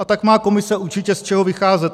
A tak má Komise určitě z čeho vycházet.